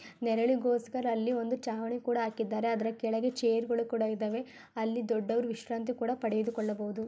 ನೆರಳಿಗೋಸ್ಕರ ಅಲ್ಲಿ ಒಂದು ಚಾವಣಿ ಕೂಡ ಹಾಕಿದ್ದಾರೆ. ಅಲ್ಲಿ ಚೇರ್ಗಳು ಕೂಡ ಇದಾವೆ ಅಲ್ಲಿ ದೊಡ್ಡವರು ವಿಶ್ರಾಂತಿ ಕೂಡ ಪಡೆದು ಕೊಳ್ಳಬಹುದು.